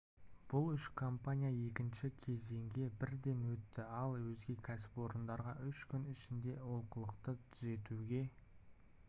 бұл үш компания екінші кезеңге бірден өтті ал өзге кәсіпорындарға үш күн ішінде олқылықтарды түзетуге